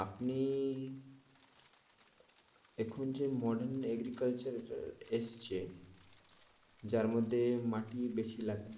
আপনি এখন যে modern agriculture এসেছে যার মধ্যে মাটি বেশি লাগে না।